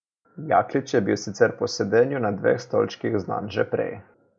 Jaklič je bil sicer po sedenju na dveh stolčkih znan že prej.